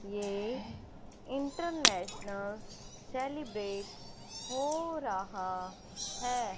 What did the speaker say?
ये international celebrate हो रहा है।